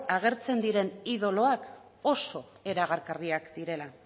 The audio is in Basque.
agertzen diren idoloak oso erakargarriak direla